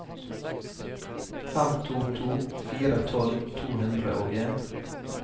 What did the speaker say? fem to to fire tolv to hundre og en